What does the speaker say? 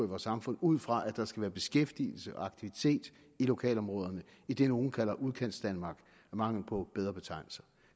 vores samfund ud fra at der skal være beskæftigelse og aktivitet i lokalområderne i det nogle kalder udkantsdanmark af mangel på bedre betegnelse